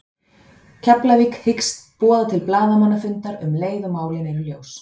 Keflavík hyggst boða til blaðamannafundar um leið og málin eru ljós.